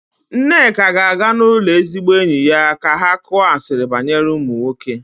Nneka ga-aga n'ụlọ ezigbo enyi ya ka ha kuọ asiri banyere ụmụ nwoke.